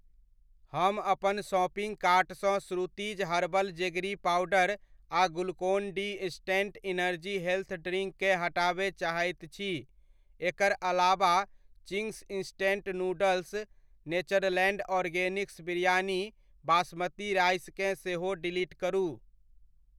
हम अपन शॉपिंग कार्टसँ श्रुतिज़ हर्बल जेगरी पाउडर आ Glucon D instant energy health drink केँ हटाबय चाहैत छी । एकर अलाबा Ching's instant noodles, Natureland Organics biryani basmati rice केँ सेहो डिलीट करु ।